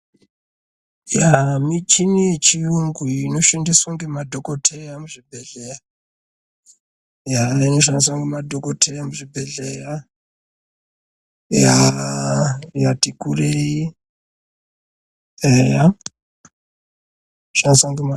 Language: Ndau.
Michini yechiyungu inoshandiswa ngemadokodheya muzvibhehleya yati kurei eya inoshandiswa ngoma.....